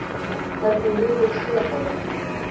Hvernig lifir hlébarði?